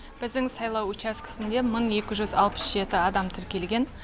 біздің сайлау учаскесінде мың екі жүз алпыс жеті адам тіркелген